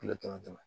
Tile damatɛmɛ